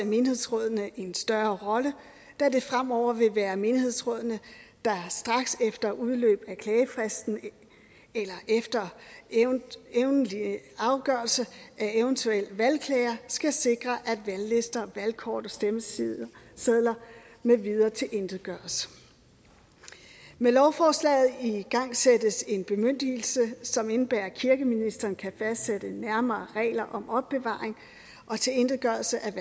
menighedsrådene også en større rolle da det fremover vil være menighedsrådene der straks efter udløb af klagefristen eller efter endelig afgørelse af eventuelle valgklager skal sikre at valglister valgkort og stemmesedler med videre tilintetgøres med lovforslaget igangsættes en bemyndigelse som indebærer at kirkeministeren kan fastsætte nærmere regler om opbevaring og tilintetgørelse af